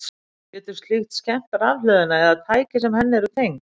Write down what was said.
Getur slíkt skemmt rafhlöðuna eða tæki sem henni eru tengd?